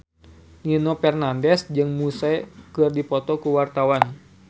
Nino Fernandez jeung Muse keur dipoto ku wartawan